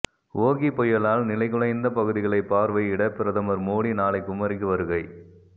ஓகி புயலால் நிலைகுலைந்த பகுதிகளை பார்வையிட பிரதமர் மோடி நாளை குமரிக்கு வருகை